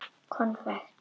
Konfekt með.